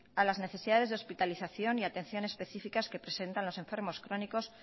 a las necesidades de hospitalización y atención específicas que presentan los enfermos crónicos